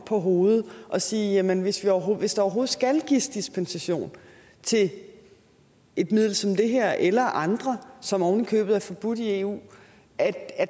på hovedet og sige jamen hvis der overhovedet skal overhovedet skal gives dispensation til et middel som det her eller andre som ovenikøbet er forbudt i eu